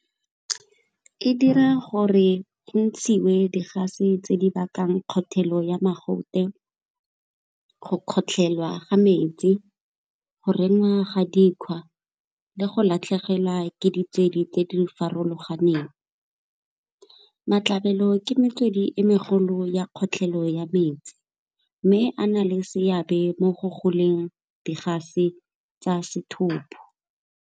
E dira gore go ntshiwe di-gas-e tse di bakang kgothelo ya mogote, go kgotlhelwa ga metsi, go rema ga dikgwa le go latlhegelwa ke tse di farologaneng. Matlhabelo ke metswedi e megolo ya kgotlhelo ya metsi, mme a na le seabe mo go goleng di-gas-e tsa sethopo.